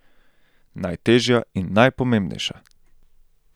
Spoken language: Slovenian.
Najtežja in najpomembnejša.